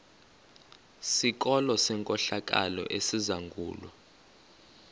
sikolo senkohlakalo esizangulwa